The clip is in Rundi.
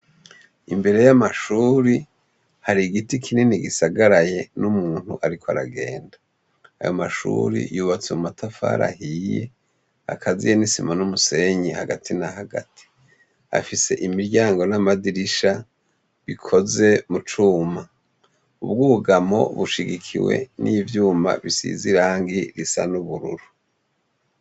Imbere y'amashure hari igiti kinini gisagaraye n'umuntu ariko aragenda. Ayo mashure yubatswe mu matafari ahiye akaziye n'isima n'umusenyi hagati na hagati. Afise imiryango n'amadirisha bikoze mu cumba. Ubwugamo bushigikiwe n'ivyuma bisize irangi risa n'ubururu.